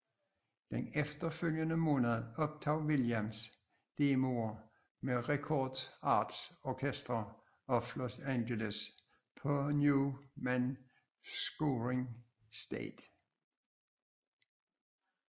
Den efterfølgende måned optog Williams demoer med Recording Arts Orchestra of Los Angeles på Newman Scoring Stage